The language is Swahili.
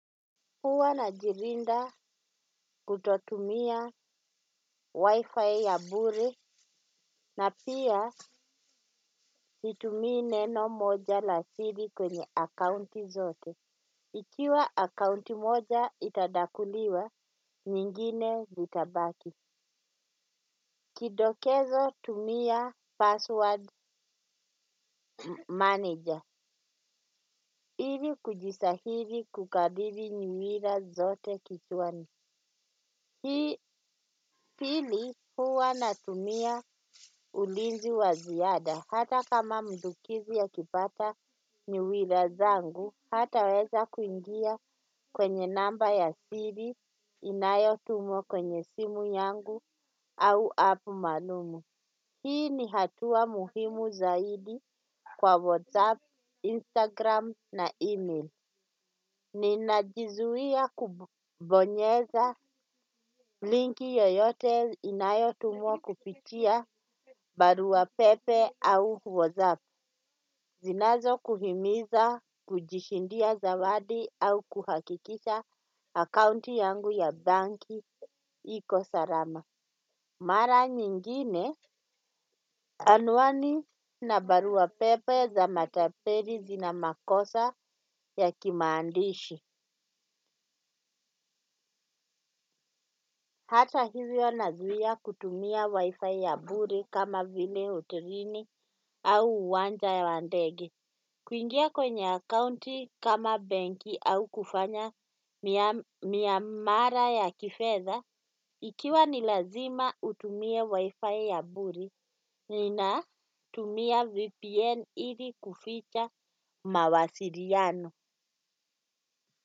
Huwa najilinda kutotumia wi-fi ya bure na pia situmii neno moja la siri kwenye akaunti zote. Ikiwa akaunti moja itadakuliwa, nyingine vitabaki. Kidokezo tumia password manager. Ili kujisahili kukadiri nyumira zote kichwani. Hii pili huwa natumia ulinzi wa ziada hata kama mdukizi akipata niwila zangu hata weza kuingia kwenye namba ya siri inayo tumwa kwenye simu yangu au app maalum. Hii ni hatua muhimu zaidi kwa WhatsApp, Instagram na email. Ninajuzia kubonyeza link yoyote inayotumwa kupitia barua pepe au WhatsApp. Zinazo kuhimiza kujishindia zawadi au kuhakikisha akaunti yangu ya banki iko salama. Mara nyingine anwani na baruapepe za matapeli zina makosa ya kimaandishi. Hata hivyo nazuia kutumia wi-fi ya bure kama vile hotelini au uwanja ya ndege. Kuingia kwenye akaunti kama benki au kufanya miamara ya kifedha. Ikiwa ni lazima utumie wi-fi ya bure, nina tumia vpn ili kuficha mawasiliano.